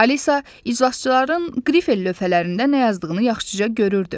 Alisa iclasçıların qrifel lövhələrində nə yazdığını yaxşıca görürdü.